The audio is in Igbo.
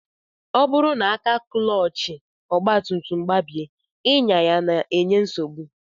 Ọ bụrụ na aka klọọchị ọgbatumtum gbabie, ịnya ya na-enye nsogbu